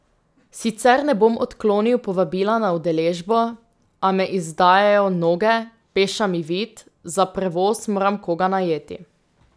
Sicer ne bom odklonil povabila na udeležbo, a me izdajajo noge, peša mi vid, za prevoz moram koga najeti.